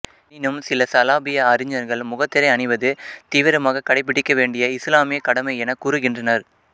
எனினும் சில சலாபிய அறிஞர்கள் முகத்திரை அணிவது தீவிரமாகக் கடைபிடிக்க வேண்டிய இசுலாமிய கடமை எனக் கூறுகின்றனர்